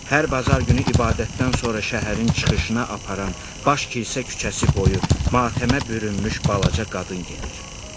Hər bazar günü ibadətdən sonra şəhərin çıxışına aparan baş kilsə küçəsi boyu matəmə bürünmüş balaca qadın gedir.